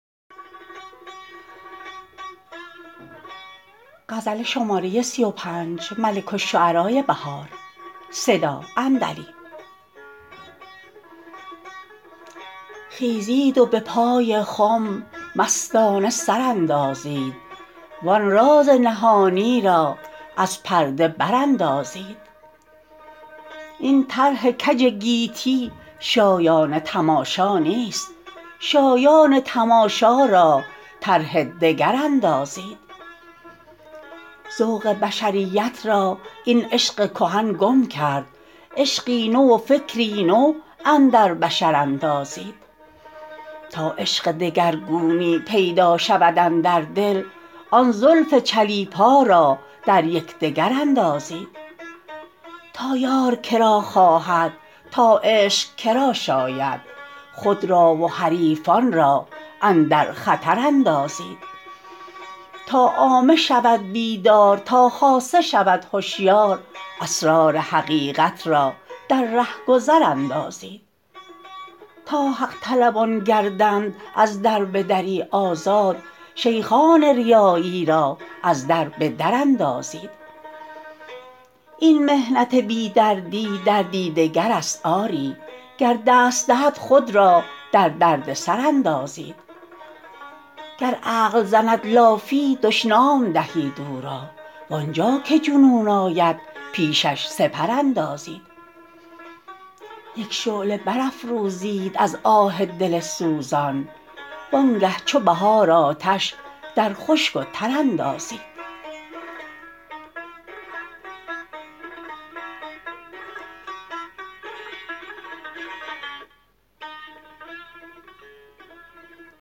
خیزید و به پای خم مستانه سر اندازید وان راز نهانی را از پرده براندازند این طرح کج گیتی شایان تماشا نیست شایان تماشا را طرح دگر اندازید ذوق بشریت را این عشق کهن گم کرد عشقی نو و فکری نو اندر بشر اندازید تا عشق دگرگونی پیدا شود اندر دل آن زلف چلیپا را در یکدگر اندازید تا یار که را خواهد تا عشق که را شاید خود را و حریفان را اندر خطر اندازید تا عامه شود بیدار تا خاصه شود هشیار اسرار حقیقت را در رهگذر اندازید تا حق طلبان گردند از دربدری آزاد شیخان ریایی را از در بدر اندازید این محنت بی دردی دردی دگرست آری گر دست دهد خود را در دردسر اندازید گر عقل زند لافی دشنام دهید او را وانجا که جنون آید پیشش سپر اندازید یک شعله برافروزید از آه دل سوزان وانگه چو بهار آتش در خشک و تر اندازید